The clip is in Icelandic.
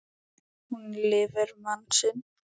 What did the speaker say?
Hún lifir mann sinn.